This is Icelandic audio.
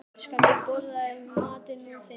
Svona, elskan mín, borðaðu nú matinn þinn.